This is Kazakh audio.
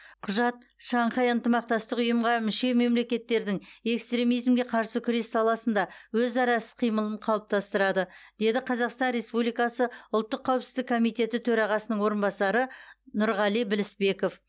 құжат шанхай ынтымақтастық ұйымға мүше мемлекеттердің экстремизимге қарсы күрес саласында өзара іс қимылын қалыптастырады деді қазақстан республикасы ұлттық қауіпсіздік комитеті төрағасының орынбасары нұрғали білісбеков